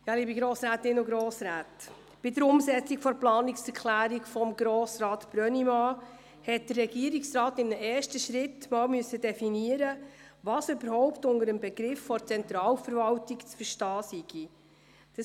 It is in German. Ja, liebe Grossrätinnen und Grossräte, bei der Umsetzung der Planungserklärung von Grossrat Brönnimann hat der Regierungsrat in einem ersten Schritt definieren müssen, was unter dem Begriff der Zentralverwaltung zu verstehen sei.